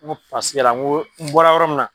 N ko paseke la n ko n bɔla yɔrɔ min na